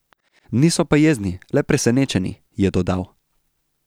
Niso pa jezni, le presenečeni, je dodal.